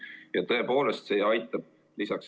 Ja tõepoolest, see aitab.